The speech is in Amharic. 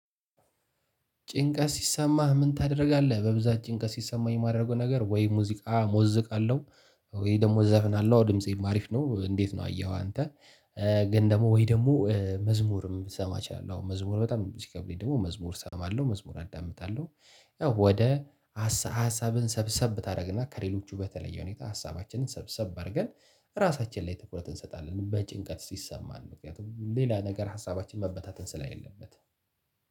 ጭንቀት ሲሰማህ ምን ታደርጋለህ? በብዛት ጭንቀት ሲሰማኝ ማደርገው ነገር ወይ ሙዚቃ ሞዝቃለሁ። ወይ ደግሞ ዘፍናለው እንዴት ነው አንተ ድምፄ አሪፍ ነው? እንዴት ነው አየሀው አንተ። ግን ደግሞ ወይ ደግሞ መዝሙርም ልሰማ እችላለሁ አሁን መዝሙር በጣም ሲከብደኝ ደግሞ መዝሙር እሰማለሁ መዝሙር አዳምጣለሁ። ያው ወደ ሀሳብ ሀሳብን ሰብሰብ ታደርግና ከሌሎቹ በተለየ ሁኔታ ሀሳባችንን ሰብሰብ አድርገን። ራሳችን ላይ ትኩረት እንሰጣለን በጭንቀት ሲሰማን ምክንያቱም ሌላ ነገር ሀሳባችን መበታተን ስለሌለበት።